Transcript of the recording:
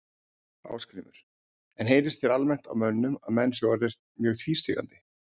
Ásgrímur: En heyrist þér almennt á mönnum að menn séu orðnir mjög tvístígandi?